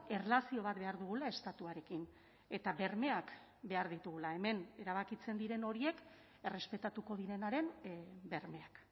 erlazio bat behar dugula estatuarekin eta bermeak behar ditugula hemen erabakitzen diren horiek errespetatuko direnaren bermeak